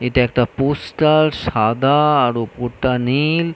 এটা একটা পোস্টার সাদা আর ওপরটা নীল--